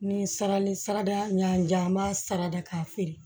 Ni sarali sara da ɲan jara an b'a sara da k'a feere